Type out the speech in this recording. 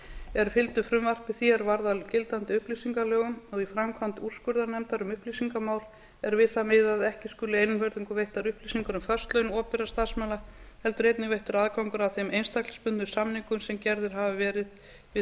er fylgdu frumvarpi því er varð að gildandi upplýsingalögum og í framkvæmd úrskurðarnefndar um upplýsingamál er við það miðað að ekki skuli einvörðungu veittar upplýsingar um föst laun opinberra starfsmanna heldur einnig veittur aðgangur að þeim einstaklingsbundnu samningum sem gerðir hafa verið við